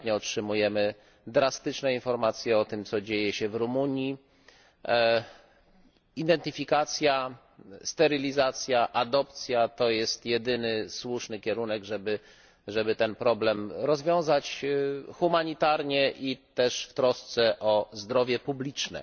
Ostatnio otrzymujemy drastyczne informacje o tym, co dzieje się w Rumunii. Identyfikacja, sterylizacja, adopcja to jest jedyny słuszny kierunek, żeby ten problem rozwiązać w humanitarny sposób i też w trosce o zdrowie publiczne.